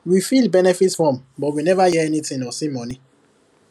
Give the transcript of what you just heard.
we fill benefit form but we never hear anything or see money